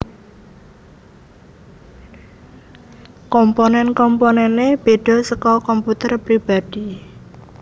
Komponen komponene bedha saka komputer pribadhi